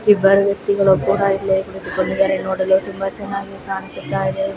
ಇಬ್ಬರು ವ್ಯಕ್ತಿಗಳು ಒಬ್ಬರಗೆ ಕುಳಿತುಕೊಂಡಿದರೆ ನೋಡಲು ತುಂಬಾ ಚನ್ನಾಗಿ ಕಾಣಿಸುತ್ತಾಯಿದ.